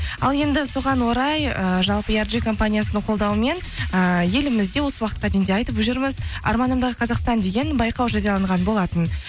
ал енді соған орай ыыы жалпы компаниясының қолдауымен ыыы елімізде осы уақытқа дейін де айтып жүрміз арманымдағы қазақстан деген байқау жарияланған болатын